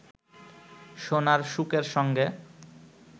সোনার শুকের সঙ্গে